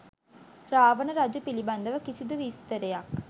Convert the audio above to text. රාවණ රජු පිළිබඳව කිසිදු විස්තරයක්